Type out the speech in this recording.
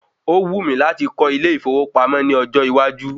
Ó wù mí láti kọ́ ilé ìfowópamọ́ ní ọjọ́ iwájú.